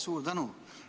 Suur tänu!